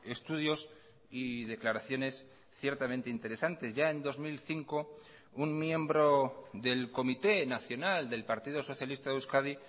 estudios y declaraciones ciertamente interesantes ya en dos mil cinco un miembro del comité nacional del partido socialista de euskadi